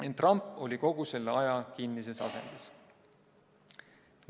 Ent ramp oli kogu selle aja kinnises asendis.